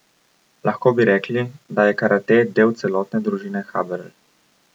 Lahko bi rekli, da je karate del celotne družine Haberl.